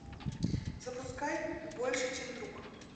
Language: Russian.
запускай больше чем друг